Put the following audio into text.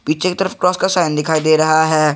पीछे की तरफ क्रॉस का साइन दिखाई दे रहा है।